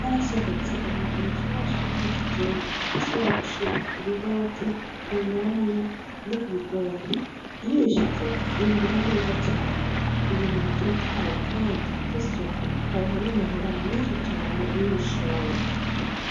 Harasohotse umwavu mushasha wikizungu ushobora gushira kubihoke, kunyanya, nokubigori, iyo uwushizeko wimbura neza cane, ibintu bitotahaye Kandi vyisuku ukaronka namahera menshi cane iyo ubishoye.